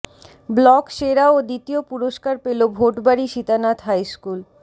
block সেরা ও দ্বিতীয় পুরস্কার পেল ভোটবাড়ি সীতানাথ হাইস্কুল